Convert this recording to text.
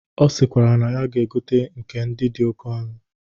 Ọ sikwara na ya ga-egote ndị dị oke ọnụ.